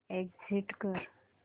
exit कर